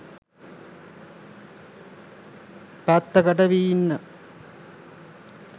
පැත්තකට වී ඉන්න.